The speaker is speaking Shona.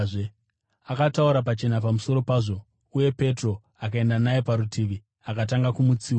Akataura pachena pamusoro pazvo, uye Petro akaenda naye parutivi akatanga kumutsiura.